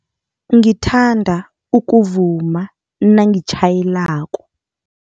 Ngithanda ukuvuma nangitjhayelako.